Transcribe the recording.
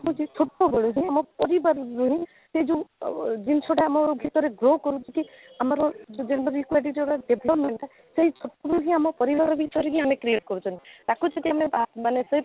ସେ ସବୁବେଳେ ଆମ ପରିବାର ବର୍ଗରେ ସେ ଯଉ ଜିନିଷଟା ଆଃ ଆମ ଭିତରେ grow କରୁଛି ଆମର gender equity ଦ୍ୱାରା development ଟା ସେଇ ପୁରୁଷ ଆମ ପରିବାର ଭିତରେ ହିଁ ଆମେ create କରୁଛନ୍ତି ତାକୁ ଯଦି ଆମେ ତା ମାନେ ସେଇ